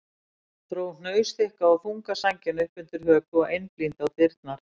Dró hnausþykka og þunga sængina upp undir höku og einblíndi á dyrnar.